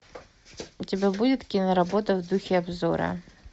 у тебя будет киноработа в духе обзора